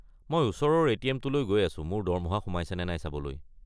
মই ওচৰৰ এ.টি.এম-টো লৈ গৈ আছো মোৰ দৰমহা সোমাইছে নে নাই চাবলৈ।